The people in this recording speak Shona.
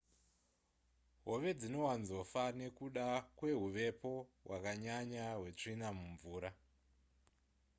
hove dzinowanzofa nekuda kwehuvepo hwakanyanya hwetsvina mumvura